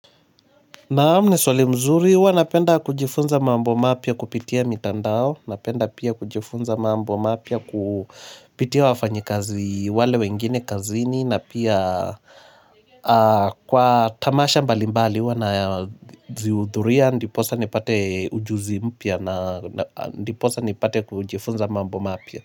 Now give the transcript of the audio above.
Naam, ni swali mzuri huwa napenda kujifunza mambo mapya kupitia mitandao. Napenda pia kujifunza mambo mapya kupitia wafanyikazi wale wengine kazini na pia kwa tamasha mbali mbali huwa nazihudhuria ndiposa nipate ujuzi mpya na ndiposa nipate kujifunza mambo mapya.